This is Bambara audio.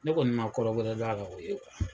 Ne kɔni ma kɔrɔ wɛrɛ dɔn a la, o ye